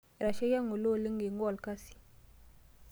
Etashaikia ng'ole oleng eingua olkasi.